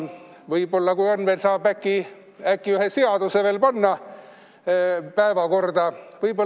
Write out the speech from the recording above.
Vahest saab ühe seaduseelnõu veel päevakorda võtta.